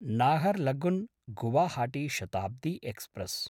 Naharlagun –Guwahati Shatabdi express